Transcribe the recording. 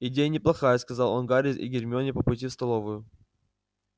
идея неплохая сказал он гарри и гермионе по пути в столовую